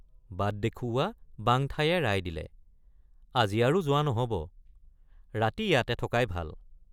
বাট দেখুৱা বাঙঠায়ে ৰায় দিলে আজি আৰু যোৱা নহব ৰাতি ইয়াতে থকাই ভাল।